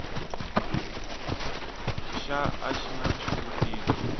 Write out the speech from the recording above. xa a xi na xivutiso